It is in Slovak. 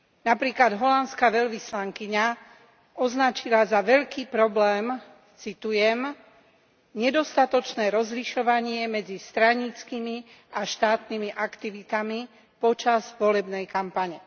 Napríklad holandská veľvyslankyňa označila za veľký problém, citujem Nedostatočné rozlišovanie medzi straníckymi a štátnymi aktivitami počas volebnej kampane.